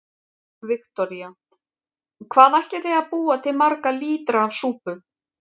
Viktoría: Hvað ætlið þið að búa til marga lítra af súpu?